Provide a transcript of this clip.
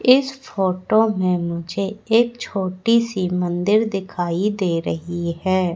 इस फोटो मे मुझे एक छोटी सी मंदिर दिखाई दे रही है।